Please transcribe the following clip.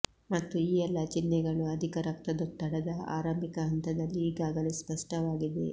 ಮತ್ತು ಈ ಎಲ್ಲಾ ಚಿಹ್ನೆಗಳು ಅಧಿಕ ರಕ್ತದೊತ್ತಡದ ಆರಂಭಿಕ ಹಂತದಲ್ಲಿ ಈಗಾಗಲೇ ಸ್ಪಷ್ಟವಾಗಿವೆ